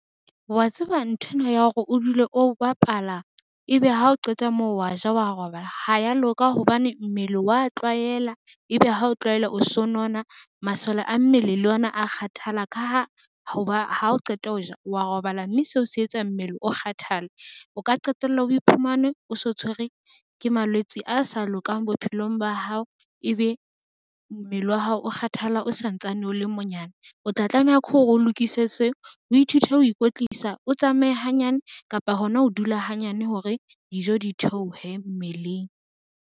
Wa tseba nthwena ya hore o dule o bapala, ebe ha o qeta moo wa ja, wa robala ha ya loka hobane mmele wa tlwaela ebe ha o tlwaela o so nona masole a mmele le ona a kgathala ka ha ho ba ha o qeta ho ja wa robala, mme seo se etsa mmele o kgathale o ka qetella o iphumane o so tshwerwe ke malwetse a sa lokang bophelong ba hao. Ebe mmele wa hao o kgathala o santsane o le monyane, o tla tlameha ke hore o lokise se, o ithute ho ikwetlisa, otsamaye hanyane kapa hona ho dula hanyane hore dijo di theohe mmeleng.